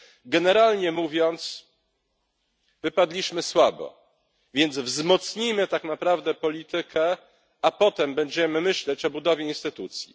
Generalnie mówiąc, wypadliśmy słabo, więc wzmocnijmy tak naprawdę politykę, a potem będziemy myśleć o budowie instytucji.